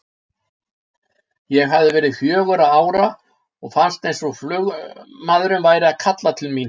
Ég hafði verið fjögurra ára og fannst eins og flugmaðurinn væri að kalla til mín.